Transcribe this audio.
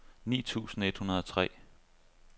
ni tusind et hundrede og tre